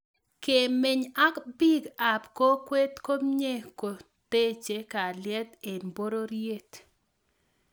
kemeny ak bik ab kokwet ko mie ko koteche kalyet eng pororiet